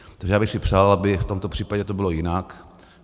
Takže já bych si přál, aby v tomto případě to bylo jinak.